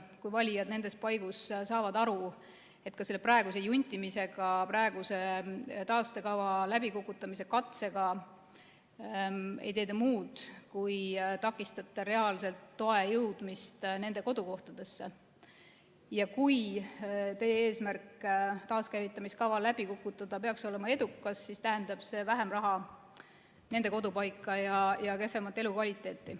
Kui valijad nendes paigus saavad aru, et praeguse juntimisega, praeguse taastekava läbikukutamise katsega ei tee te muud kui takistate reaalselt toe jõudmist nende kodukohtadesse, ja kui teie eesmärk taaskäivitamise kava läbi kukutada peaks olema edukas, siis tähendab see vähem raha nende kodupaika ja kehvemat elukvaliteeti.